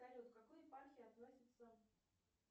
салют к какой епархии относится